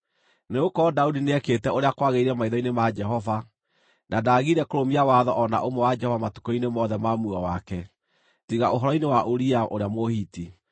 Nĩgũkorwo Daudi nĩekĩte ũrĩa kwagĩrĩire maitho-inĩ ma Jehova, na ndaagire kũrũmia watho o na ũmwe wa Jehova matukũ-inĩ mothe ma muoyo wake, tiga ũhoro-inĩ wa Uria ũrĩa Mũhiti.